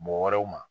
Mɔgɔ wɛrɛw ma